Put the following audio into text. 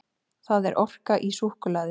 Það er orka í súkkulaði.